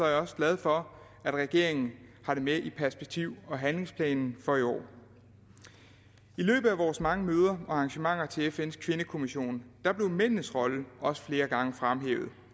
jeg også glad for at regeringen har det med i perspektiv og handlingsplanen for i år i løbet af vores mange møder og arrangementer til fns kvindekommission blev mændenes rolle også flere gange fremhævet